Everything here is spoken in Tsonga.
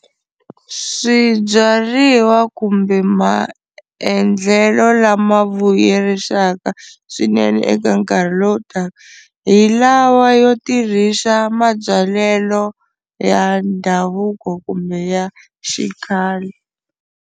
Swibyariwa kumbe maendlelo lama vuyerisaka swinene eka nkarhi lowu taka hi lawa yo tirhisa mabyalelo ya ndhavuko kumbe ya xikhale.